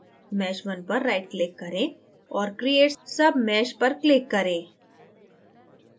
mesh _ 1 पर right click करें औऱ create submesh पर click करें